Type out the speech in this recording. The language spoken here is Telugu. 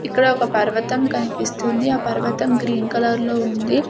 ఇక్కడ ఒక పర్వతం కనిపిస్తుంది ఆ పర్వతం గ్రీన్ కలర్లో ఉంది.